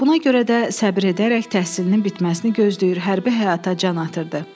Buna görə də səbr edərək təhsilinin bitməsini gözləyir, hərbi həyata can atırdı.